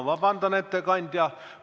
Vabandust, ettekandja!